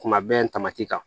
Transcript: Kuma bɛɛ tamasi kan